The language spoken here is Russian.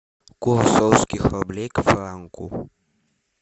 курс русских рублей к франку